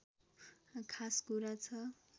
खास कुरा छ